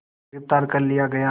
गिरफ़्तार कर लिया गया